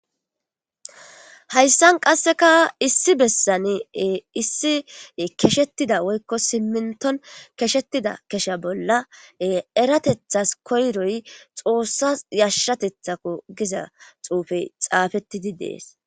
Haysan qasseka lssi bessan keshetida woykon siminto keshettida kesha bolla eratethas koroy xossas yashatethikko gizaxupey xapettidi dees.